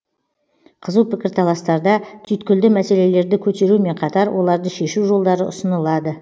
қызу пікірталастарда түйткілді мәселелерді көтерумен қатар оларды шешу жолдары ұсынылады